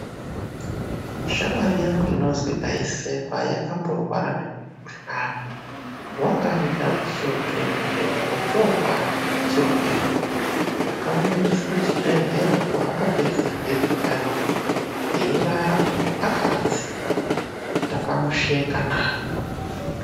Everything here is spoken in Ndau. Shamwari yangu inozwi Taisekwa, yakamborwara ngemukhuhlani. Wanga aita zvechihule-hule, ochoobatwa ngechirwere. Ndakamuendesa kuchibhedhlera kwaakapedza vhiki ariyo, eirara akaradzikwa. Ndakamushekana.